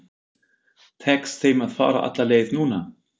Tekst þeim að fara alla leið núna?